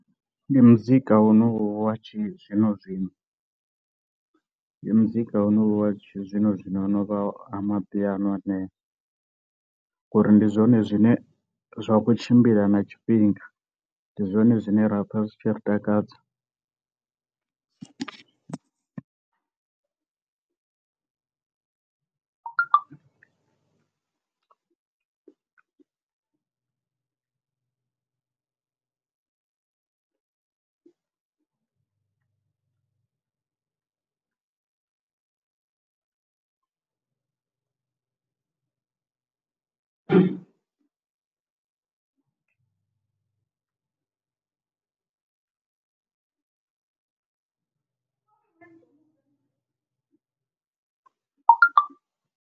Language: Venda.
Ndi muzika wonowu wa tshi zwino zwino, ndi muzika wonowu wa tshi zwino zwino ho no vha amapiano aneo, ngori ndi zwone zwine zwa kho tshimbila na tshifhinga ndi zwone zwine ra pfa zwi tshi ri takadza .